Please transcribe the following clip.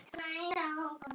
Alla vega.